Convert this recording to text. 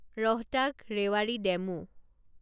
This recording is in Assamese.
ৰহটাক ৰেৱাৰী ডেমু